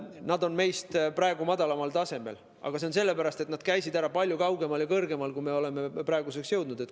Nad on meist praegu madalamal tasemel, aga see on nii sellepärast, et nad käisid ära palju kaugemal ja kõrgemal kui see, kuhu meie oleme praeguseks jõudnud.